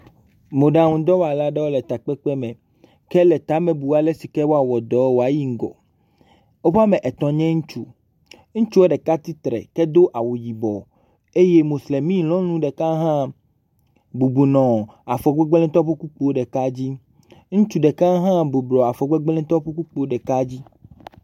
Mɔɖaŋudɔwɔla aɖeo le takpekpe me hele tame bum ale si ke woawɔ dɔ waoyi ŋgɔ. Wobe wɔme etɔ̃ nye ŋutsu. Ŋutsua ɖeka tsitre ke do awu yibɔ eye moslemi nyɔnu ɖeka hã bubɔnɔ afɔgbegbletɔwo ƒe kpukpoe ɖeka dzi. Ŋutsu ɖeka hã bublua afɔgbegbletɔwo ƒe kpukpoe ɖeka dzi.